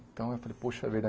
Então, eu falei, poxa, é verdade.